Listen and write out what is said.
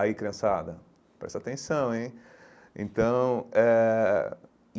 Aí, criançada, presta atenção, hein? Então eh